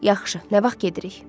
Yaxşı, nə vaxt gedirik?